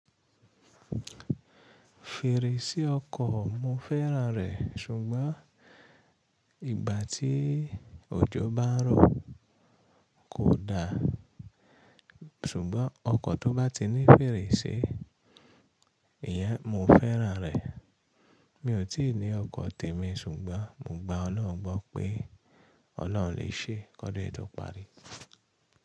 Fèrèsé ọkọ̀, mo fẹ́ràn rẹ̀ ṣùgbọ́n ìgbà tí òjò bá ń rọ, kò da. Ṣùgbọ́n ọkọ̀ tó bá ti ní fèrèsé, ìyẹn mo fẹ́ràn rẹ̀. Mi ò tíì ní ọkọ̀ tèmi ṣùgbọ́n mo gba Ọlọ́run gbọ́ pé Ọlọ́run lè ṣe. Kódun yii tó parí.